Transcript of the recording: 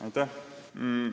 Aitäh!